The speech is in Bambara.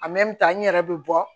n yɛrɛ bɛ bɔ